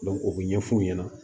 o bɛ ɲɛfɔ u ɲɛna